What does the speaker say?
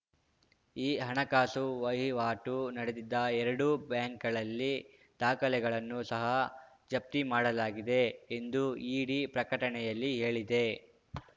ಈ ಹಣಕಾಸು ವಹಿವಾಟು ನಡೆದಿದ್ದ ಎರಡು ಬ್ಯಾಂಕ್‌ಗಳಲ್ಲಿ ದಾಖಲೆಗಳನ್ನು ಸಹ ಜಪ್ತಿ ಮಾಡಲಾಗಿದೆ ಎಂದು ಇಡಿ ಪ್ರಕಟಣೆಯಲ್ಲಿ ಹೇಳಿದೆ